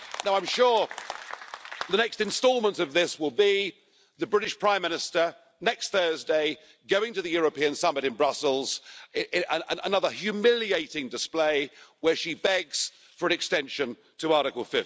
I'm sure the next instalment of this will be the British Prime Minister, next Thursday, going to the European summit in Brussels and another humiliating display where she begs for an extension to Article